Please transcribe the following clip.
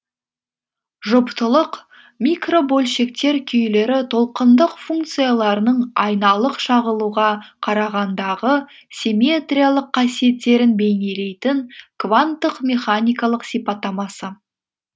жұптылық микробөлшектер күйлері толқындық функцияларының айналық шағылуға қарағандағы симметриялық қасиеттерін бейнелейтін кванттық механикалық сипаттамасы